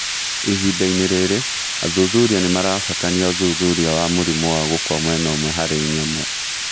Ihind-inĩ rĩrĩ, athuthuria nĩmaratabania ũthuthuria wa mũrimũ wa gũkua mwena ũmwe harĩ nyamũ